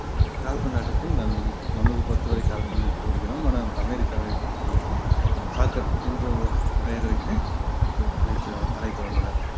கால்பந்து ஆட்டத்தின் நம்~ நமது பொறுத்தவரை கால்பந்து போடுகிறோம் ஆனால் அமெரிக்காவை பொறுத்தவரைக்கும் soccer என்ற பெயர் வைத்து அழைத்து அழைத்து வந்தனர்